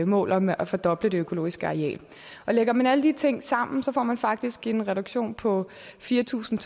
mål om at fordoble det økologiske areal og lægger man alle de ting sammen får man faktisk en reduktion på fire tusind